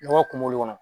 Nɔgɔ kungolo kɔnɔ